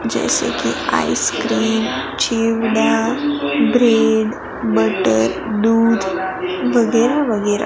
जैसे कि आइसक्रीम